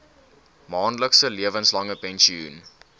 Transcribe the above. maandelikse lewenslange pensioen